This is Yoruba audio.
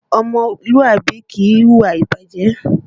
Ọmọlúàbí kìí hu ìwà ìbàjẹ́